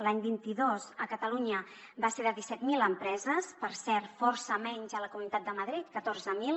l’any vint dos a catalunya va ser de disset mil empreses per cert força menys a la comunitat de madrid catorze mil